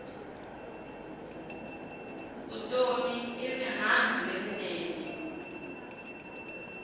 vutomi i rihanyu lerinene